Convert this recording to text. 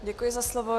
Děkuji za slovo.